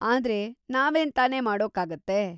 ಆದ್ರೆ, ನಾವೇನ್‌ ತಾನೇ ಮಾಡೋಕಾಗುತ್ತೆ?